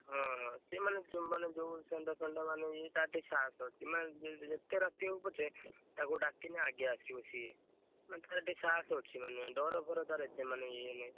ହଁ ସିଏ ମାନେ ମାନେ ଯୋଉ ମାନେ ଇଏ ତାର ଟିକେ ସାହସ ଅଛି। ମାନେ ଯେତେ ରାତି ହଉ ପଛେ ତାକୁ ଡାକିଲେ ଆଗେ ଆସିବ ସିଏ। ମାନେ ତାର ଟିକେ ସାହସ ଅଛି ମାନେ ଡ଼ର ଫର ତାର ଏତେ ମାନେ ଇଏ ନାହିଁ।